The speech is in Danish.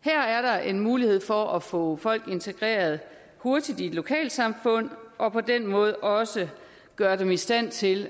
her er der en mulighed for at få folk integreret hurtigt i lokalsamfund og på den måde også gøre dem i stand til